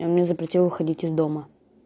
и он мне запретил выходить из дома